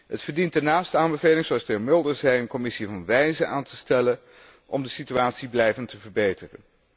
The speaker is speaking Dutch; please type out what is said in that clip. Het verdient daarnaast aanbeveling, zoals de heer Mulder zei, een commissie van wijzen aan te stellen om de situatie blijvend te verbeteren.